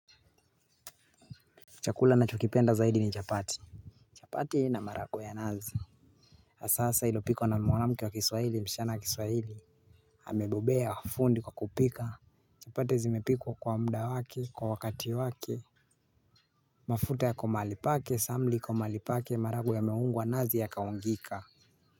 Chakula nachokipenda zaidi ni chapati. Chapati na maharagwe ya nazi hasahasa ilopikwa na mwanamke wa kiswahili msichana wa kiswahili amebobea na fundi kwa kupika. Chapati zimepikwa kwa mda wake. Kwa wakati wake mafuta yako mahali pake, samli iko mahali pake maharagwe yameungwa nazi yakaungika.